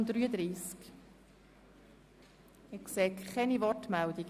Ich sehe keine Wortmeldungen.